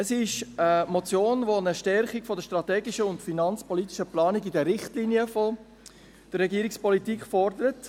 Es ist eine Motion, die eine Stärkung der strategischen und finanzpolitischen Planung in den Richtlinien von der Regierungspolitik fordert.